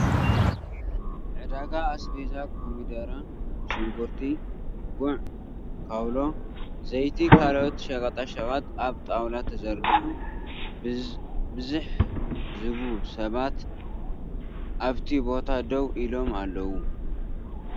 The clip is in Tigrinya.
ዕዳጋ ኣስቤዛ ኮሚደረ፣ ሽጉርቲ፣ ጉዕ፣ ካውሎ፣ ዘይቲ ካልኦት ሸቀጣ ሸቀጥ ኣብ ጣውላ ተዘርጊሑ ብዝሕ ዝቡ ሰባት ኣብ ቲ ቦታ ደው ኢሎም ኣለዉ ።